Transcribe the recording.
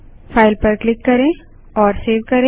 file पर hit करेंSaveसेब करें